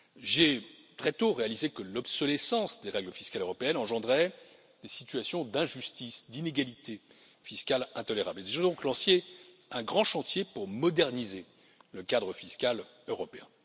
J'ai très tôt réalisé que l'obsolescence des règles fiscales européennes engendrait des situations d'injustice et d'inégalité fiscale intolérables. J'ai donc lancé un grand chantier pour moderniser le cadre fiscal européen.